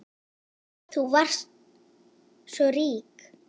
Þú varst svo rík.